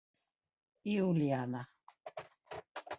Júlíana